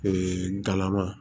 Ee galama